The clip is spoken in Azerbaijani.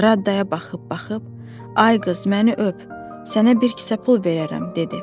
Radaya baxıb-baxıb: Ay qız məni öp, sənə bir kisə pul verərəm dedi.